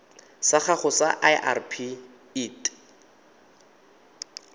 sa gago sa irp it